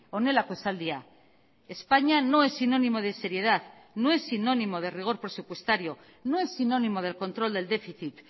honelako esaldia españa no es sinónimo de seriedad no es sinónimo de rigor presupuestario no es sinónimo del control del déficit